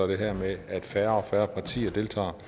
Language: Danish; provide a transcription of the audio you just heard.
det her med at færre og færre partier deltager